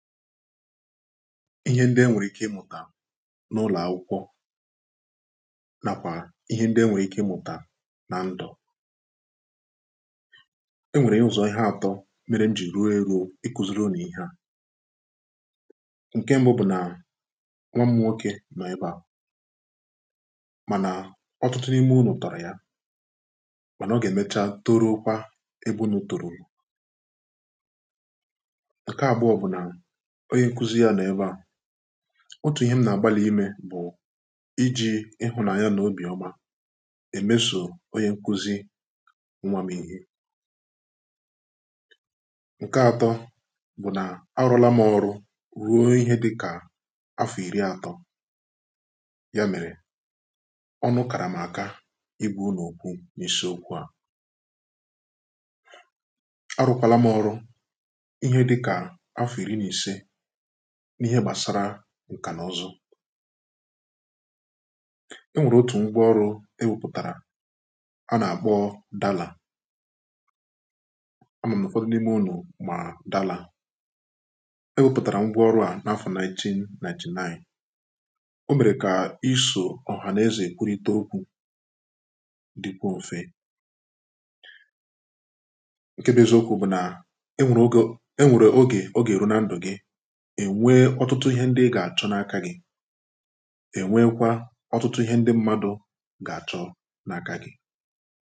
ihe ndị enwèrè ike ịmụ̀tà na ụlọ̀ akwụkwọ nà kwà ihe ndị enwèrè ike ịmụ̀tà na ndụ̀ enwèrè ụzọ̀ ihē atọ mere mjì ruo eruo ǹke mbụ nwam nwokē nọ̀ ebe a mànà ọtụtụ n’ime unù tọ̀rọ̀ ya mànà ọ gà èmecha toruo kwa ebe unū tòrùrù ǹke abụọ bụ̀ nà onye nkuzi yā nọ̀ ebe ā otù ihe m nà àgbalị̀ imē bụ̀ ijì ịhụnānya nà obì ọma èmesò onye nkuzi nwa m̄ ihe ǹke atọ bụ̀ na arụ̄ọ̄la m ọrụ ruo ihe dịkà afọ̀ ìri atọ ya mèrè ɔ́nʊ́ kàrà m àká ɪ́gʷā únù ókwú n'ísí ókʷū à arụ̄ọ̄ kwala m ọrụ ihe dịkà afọ̀ ìri nà ìse n’ihe gbàsara ǹkà n’ụzụ enwèrè otù ngwa ọrụ̄ ewepụ̀tàrà a nà-àkpọ dalà a mà m nà ụ̀fọdị n’imē unù mà dalà ewēpụ̀tàrà ngwa ọrụ̄ à nà afọ̀ 1991 omèrè kà isò ọ̀hà n’ezè èkwurịta okwū dɪkwuo mfe ǹke bụ eziokwū bụ̀ nà onwèrè ogè ènwèrè ogè ọ gà èru na ǹdụ̀ gị̀ ènwe ọtụtụ ihē ndị ị gà àchọ na aka gị̄ ènwe kwa ọtụtụ ihē ndị mmadụ̄ gà àchọ na aka gị̄